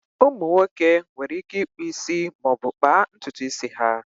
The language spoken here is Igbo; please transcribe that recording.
Ụmụ nwoke nwere ike ịkpụ isi maọbụ kpaa ntutu isi ha